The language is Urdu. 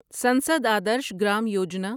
سنسد آدرش گرام یوجنا